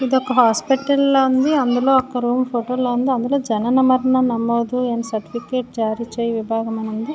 ఇది ఒక హాస్పిటల్ లా ఉంది అందులో ఒక రూమ్ ఫోటోలో ఉంది అందులో జనన మరణ నమోదు అండ్ సర్టిఫికేట్ జారీ చేయు విభాగం అని ఉంది.